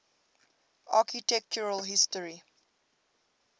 architectural history